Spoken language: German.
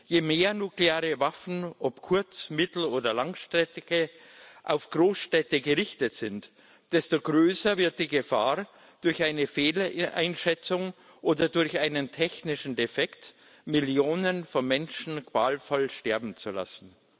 Je mehr nukleare Waffen ob kurz mittel oder langstreckige auf Großstädte gerichtet sind, desto größer wird die Gefahr, durch eine Fehleinschätzung oder durch einen technischen Defekt Millionen von Menschen qualvoll sterben zu lassen.